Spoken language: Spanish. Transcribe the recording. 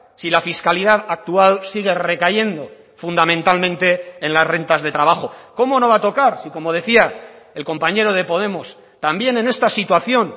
si la fiscalidad actual sigue recayendo fundamentalmente en las rentas de trabajo cómo no va a tocar si como decía el compañero de podemos también en esta situación